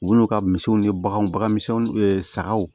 Wulu ka misiw ni baganw bagan misɛnninw sagaw